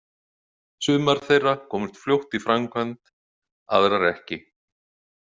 Sumar þeirra komust fljótt í framkvæmd, aðrar ekki.